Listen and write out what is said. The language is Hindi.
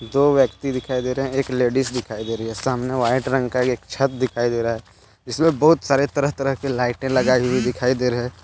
दो व्यक्ति दिखाई दे रहे हैं एक लेडिस दिखाई दे रही है। सामने वाइट रंग का एक छत दिखाई दे रहा है जिसमे बहुत सारे तरह तरह के लाइटे लगाई हुई दिखाई दे रहे--